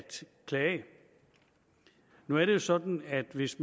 klage nu er det jo sådan at hvis